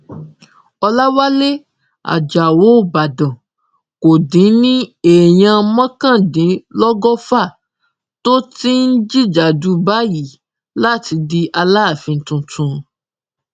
ọlàwálẹ ajáò ìbàdàn kò dín ní èèyàn mọkàndínlọgọfà tó ti ń jìjàdù báyìí láti di aláàfin tuntun